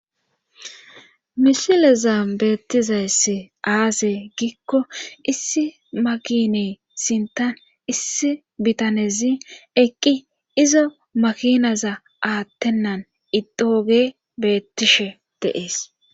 Mlisileza beettizayss aase giikko issi makine sintan issi bitanezi eqqi izo makinaza aattennan idooge beettishe deees.